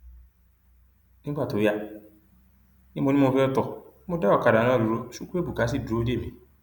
nígbà tó yá ni mo ní mo fẹẹ tó mo dá ọkadà náà dúró chukwuebuka sì dúró dè mí